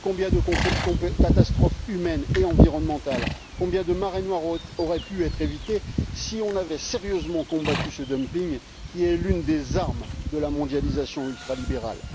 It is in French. Combien de catastrophes humaines et environnementales, combien de marées noires auraient pu être évitées si nous avions sérieusement combattu ce dumping, qui est l'une des armes de la mondialisation ultralibérale!